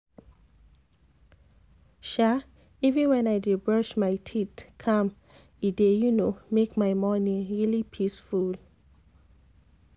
um sa even when i dey brush my teeth calm e dey um make my morning really peaceful